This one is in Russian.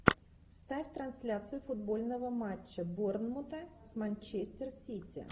ставь трансляцию футбольного матча борнмута с манчестер сити